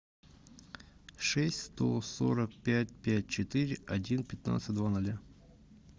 шесть сто сорок пять пять четыре один пятнадцать два ноля